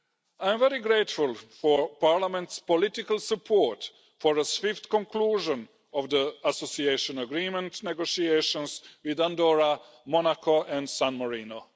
I am very grateful for Parliament's political support for a swift conclusion of the association agreement negotiations with Andorra, Monaco and San Marino.